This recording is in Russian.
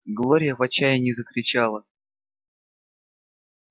глория в отчаянии закричала